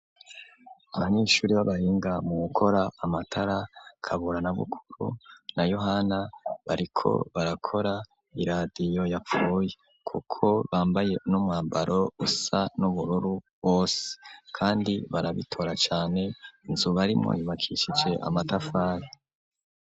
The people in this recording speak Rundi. Abanyeshuri b'abahinga mu gukora amatara Kabura na Bukuru na Yohana bariko barakora iradio yapfuy kuko bambaye n'umwambaro usa n'ubururu bose kandi barabitora cane inzu barimo ibakishice amatafari.